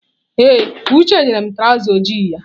Ee, Uche nyere m traụza ojii ya.